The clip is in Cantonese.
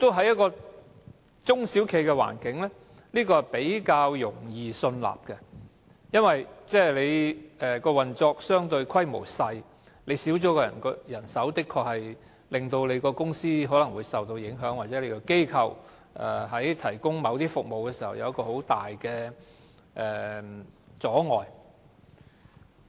就中小企的環境來說，這是較易信納的。由於運作規模相對較小，缺少了一名員工的確可能會令公司受到影響，又或是在提供服務時構成重大阻礙。